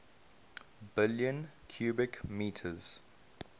billion cubic meters